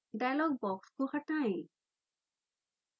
dialogue box को हटायें